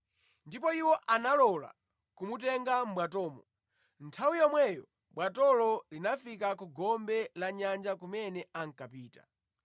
Ndipo iwo analola kumutenga mʼbwatomo, nthawi yomweyo bwatolo linafika ku gombe la nyanja kumene ankapita.